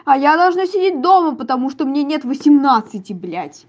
а я должна сидеть дома потому что мне нет восемнадцати блять